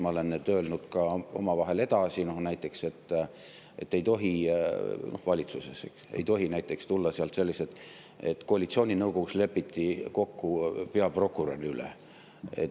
Ma olen seda valitsuses ka omavahel öelnud, et ei tohi tulla selliseid näiteks, et koalitsiooninõukogus lepiti kokku peaprokurör.